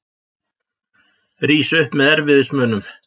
Rís upp með erfiðismunum.